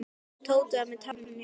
Tóti var með tárin í augunum.